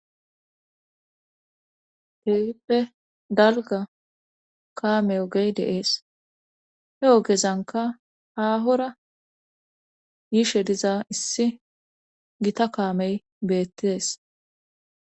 Tehippe dalga kaamey ogey deees he ogezanka haahora yiishe diza issi gita kaamey beettees.